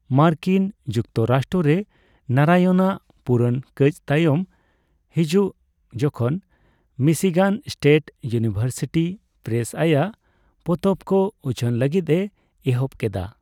ᱢᱟᱨᱠᱤᱱ ᱡᱩᱠᱛᱚᱨᱟᱥᱴᱨᱚ ᱨᱮ ᱱᱟᱨᱟᱭᱚᱱᱟᱜ ᱯᱩᱨᱚᱱ ᱠᱟᱹᱪ ᱛᱟᱭᱚᱢ ᱦᱟᱡᱩᱜ ᱡᱚᱡᱷᱚᱱ ᱢᱤᱥᱤᱜᱟᱱ ᱥᱴᱮᱴ ᱤᱭᱱᱤᱵᱷᱟᱨᱥᱤᱴᱤ ᱯᱨᱮᱥ ᱟᱭᱟᱜ ᱯᱚᱛᱚᱵ ᱠᱚ ᱩᱪᱷᱟᱹᱱ ᱞᱟᱹᱜᱤᱫ ᱮ ᱮᱦᱚᱵ ᱠᱮᱫᱟ ᱾